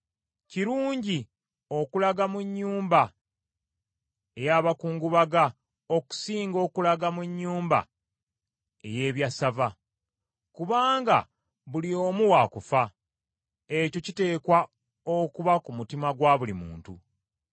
Kirungi okulaga mu nnyumba ey’abakungubaga okusinga okulaga mu nnyumba ey’ebyassava. Kubanga buli omu wa kufa, ekyo kiteekwa okuba ku mutima gwa buli muntu.